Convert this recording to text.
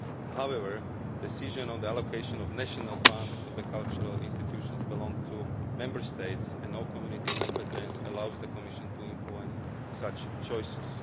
However, the decision on the allocation of national funds to cultural institutions belongs to Member States, and no Community competence allows the Commission to influence such choices.